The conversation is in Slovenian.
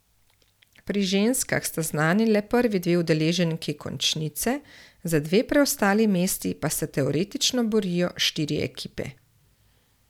Pri ženskah sta znani le prvi dve udeleženki končnice, za dve preostali mesti pa se teoretično borijo štiri ekipe.